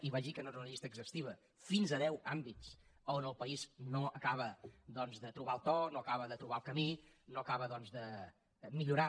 i vaig dir que no era una llista exhaustiva fins a deu àmbits on el país no acaba doncs de trobar el to no acaba de trobar el camí no acaba doncs de millorar